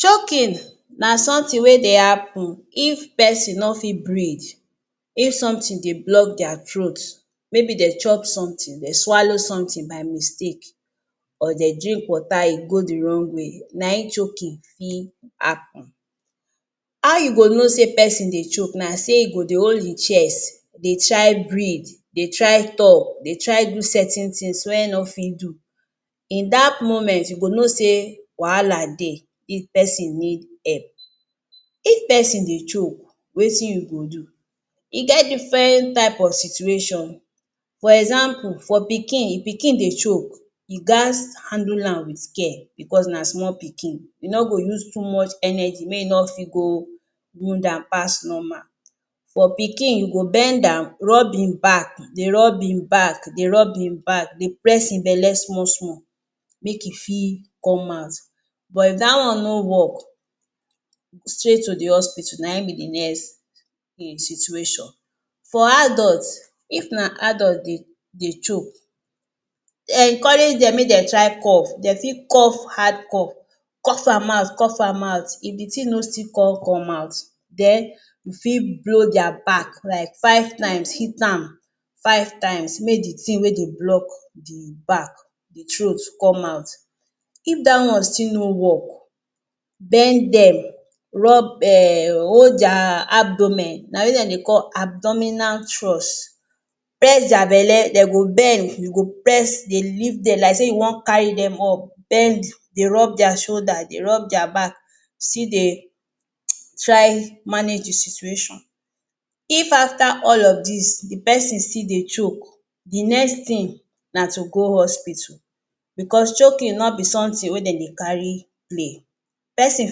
Choking na something wey dey happen if pesin no fi breath, if something dey block their throat, maybe they chop something, they swallow something by mistake or they drink water e go the wrong way na im choking fi happen. How you go know say pesin dey choke, na sey e go dey hold im chest, dey try breath, dey try talk, dey try do certain things wey e no fi do. In that moment, you go know say wahala dey, this pesin need help. If pesin dey choke, wetin you go do? E get different type of situation, for example, for pikin, if pikin dey choke, you gats handle am with care because na small pikin, you no go use too much energy, make e no fi go wound am pass normal. For pikin, you go bend am, rub im back, dey rub im back, dey rub im back, dey press im belle small small, make e fi come out. But, if that one no work, straight to the hospital na im be the next situation. For adult, if na adult dey choke, encourage them make dem try cough, dem fi cough hard cough, cough am out, cough am out, if the thing no still con come out then you fi blow their back like five times, hit am five times make the thing wey dey block the back, the throat come out. If that one still no work, bend them, rub um hold their abdomen, na wetin dem dey call abdominal thrust, press their belle den go bend, you go press dey lift them like say you wan carry them up, bend dey rub their shoulder, dey rub their back, still dey try manage the situation. If after all of these, the pesin still dey choke the next thing na to go hospital because choking no be something wey den dey carry play, pesin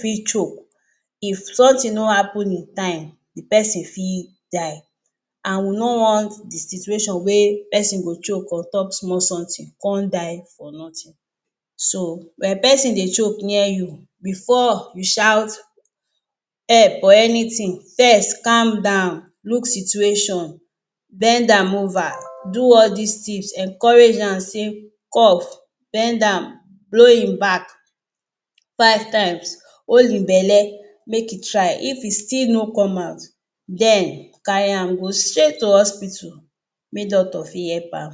fi choke, if something no happen in time, the pesin fi die and we no want the situation wey pesin go choke on top small something con die for nothing. So when pesin dey choke near you before you shout help or anything, first calm down, look situation, bend am over, do all these things, encourage am say cough, bend am, blow im back five times, hold im belle make e try if e still no come out, then carry am go straight to hospital make doctor fi help am.